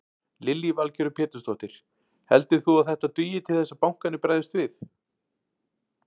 Lillý Valgerður Pétursdóttir: Heldur þú að þetta dugi til þess að bankarnir bregðist við?